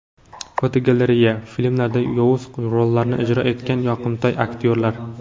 Fotogalereya: Filmlarda yovuz rollarni ijro etgan yoqimtoy aktyorlar.